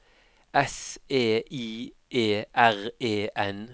S E I E R E N